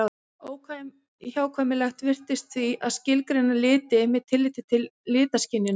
Óhjákvæmilegt virðist því að skilgreina liti með tilliti til litaskynjunar.